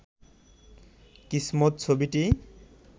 কিসমত ছবিটি